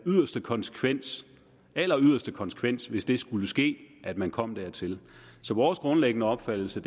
yderste konsekvens alleryderste konsekvens hvis det skulle ske at man kom dertil så vores grundlæggende opfattelse